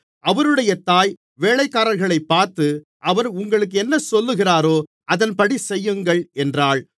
அவருடைய தாய் வேலைக்காரர்களைப் பார்த்து அவர் உங்களுக்கு என்ன சொல்லுகிறாரோ அதின்படி செய்யுங்கள் என்றாள்